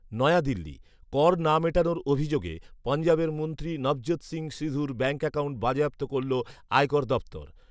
নয়াদিল্লি, কর না মেটানোর অভিযোগে পঞ্জাবের মন্ত্রী নভজ্যোত সিং সিধুর ব্যাঙ্ক অ্যাকাউন্ট বাজেয়াপ্ত করল আয়কর দফতর